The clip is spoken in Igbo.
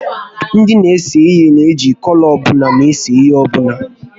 Ndị n'ese ihe na eji kọlọ ọbụla ese ihe ọbụla